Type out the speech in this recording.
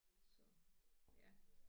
Så ja